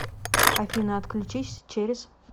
афина отключись через